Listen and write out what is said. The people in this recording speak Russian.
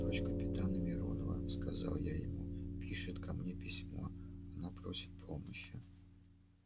дочь капитана миронова сказал я ему пишет ко мне письмо она просит помощи